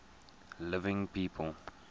living people